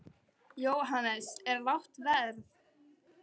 Jóhannes: Er lágt verð?